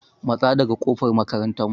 Matsa daga ƙofar makarantar mu!